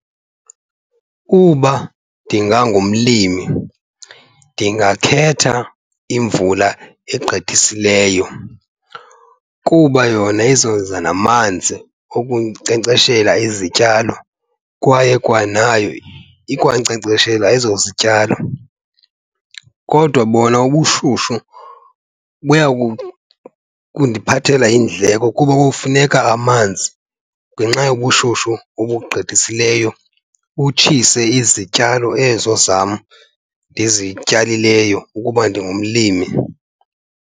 Uba ndingangumlimi ndingakhetha imvula egqithisileyo kuba yona izoza namanzi okunkcenkceshela izityalo kwaye kwanayo ikwankcenkceshela ezo zityalo. Kodwa bona ubushushu buya kundiphathela iindleko kuba kufuneka amanzi ngenxa yobushushu obugqithisileyo, butshise izityalo ezo zam ndizityalileyo ukuba ndingumlimi.